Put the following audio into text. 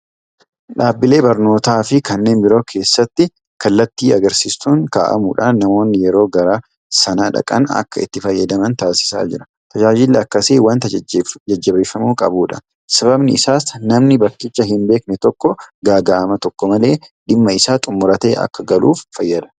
Dhaabbilee barnootaafi kanneen biroo keessatti kallattii agarsiistuun kaa'amuudhaan namoonni yeroo gara sana dhaqan akka itti fayyadaman taasisaa jira. Tajaajilli akkasii waanta jajjabeeffamuu qabudha. Sababni isaas namni bakkicha hin beekne tokko gaaga'ama tokko malee dhimma isaa xumuratee akka galuuf fayyada.